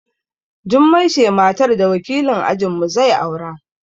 Jummai ce matar da wakilin ajin mu zai aura